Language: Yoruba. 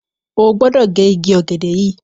O gbódò ge ìgi Ìgi ògèdè yí!